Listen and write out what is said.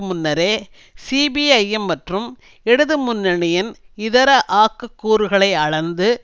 முன்னரே சிபிஐஎம் மற்றும் இடதுமுன்னணியின் இதர ஆக்கக் கூறுகளை அளந்து